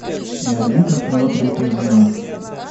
найди ка кино третья жена